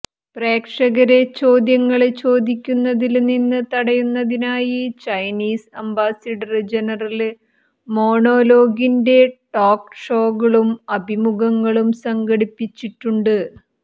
പ്രേക്ഷകരെ ചോദ്യങ്ങള് ചോദിക്കുന്നതില് നിന്ന് തടയുന്നതിനായി ചൈനീസ് അംബാസഡര് ജനറല് മോണോലോഗിന്റെ ടോക്ക് ഷോകളും അഭിമുഖങ്ങളും സംഘടിപ്പിച്ചിട്ടുണ്ട്